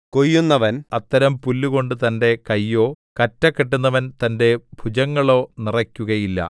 കൊയ്യുന്നവൻ അത്തരം പുല്ലുകൊണ്ട് തന്റെ കൈയോ കറ്റ കെട്ടുന്നവൻ തന്റെ ഭുജങ്ങളോ നിറയ്ക്കുകയില്ല